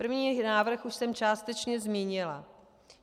První návrh už jsem částečně zmínila.